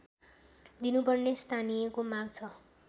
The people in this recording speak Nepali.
दिनुपर्ने स्थानीयको माग छ